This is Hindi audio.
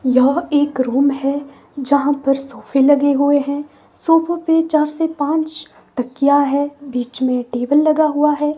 यह एक रूम है जहां पर सोफे लगे हुए हैं सोफों पे चार से पांच तकिया है बीच में टेबल लगा हुआ है।